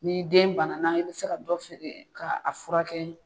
N'i den bana na i bi se ka dɔ feere k'a furakɛ